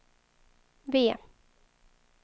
V